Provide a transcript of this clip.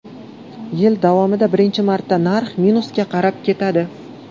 Yil davomida birinchi marta narx minusga qarab ketadi.